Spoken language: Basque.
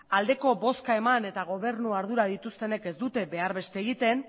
aldeko bozka eman eta gobernu ardurak dituztenek ez dute behar beste egiten